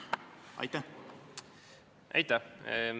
Aitäh!